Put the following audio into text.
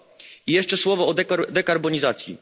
2. I jeszcze słowo o dekarbonizacji.